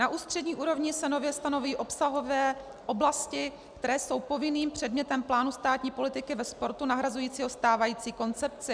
Na ústřední úrovni se nově stanoví obsahové oblasti, které jsou povinným předmětem plánu státní politiky ve sportu nahrazujícího stávající koncepci.